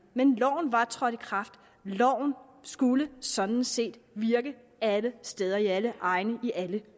men loven var trådt i kraft og loven skulle sådan set virke alle steder i alle egne i alle